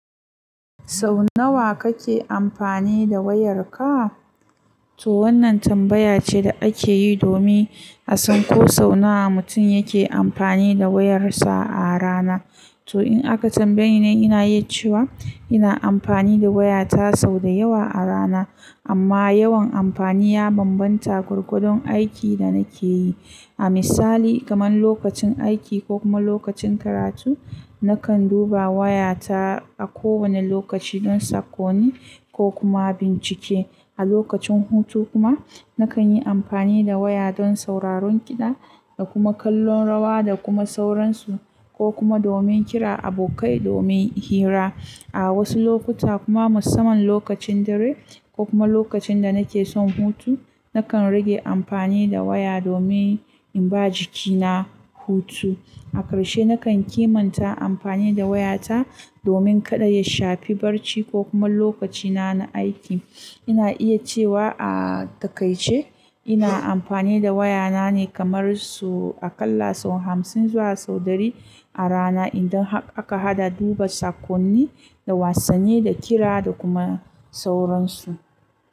Sau nawa kake amfani da wayarka? To wannan tambaya ce da ake yi domin a san ko sau nawa mutum yake amfani da wayarsa a rana. To in aka tambaye ni, ina iya cewa ina amfani da wayata sau da yawa a rana, amma yawan amfani ya bambanta gwargwadon aikin da nake yi. A misali, kamar lokacin aiki ko kuma lokacin karatu, nakan duba wayata a kowane lokaci don sakonni ko kuma bincike. A lokacin hutu kuma, nakan yi amfani da waya don sauraron kiɗa da kuma kallon rawa da kuma sauransu, ko kuma domin kira abokai domin hira. A wasu lokuta kuma, musamman lokacin dare ko kuma lokacin da nake son hutu, nakan rage amfani da waya domin in ba jikina hutu. A ƙarshe, nakan kimanta amfani da wayata domin kada ya shafi barci ko kuma lokacina na aiki. Ina iya cewa a takaice ina amfani da wayana ne kamar sau aƙalla sau hamsin zuwa sau ɗari a rana, idan haka aka haɗa duba sakonni da wasanni da kira da kuma sauransu.